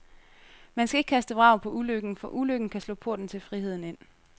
Man skal ikke kaste vrag på ulykken, for ulykken kan slå porten til friheden ind.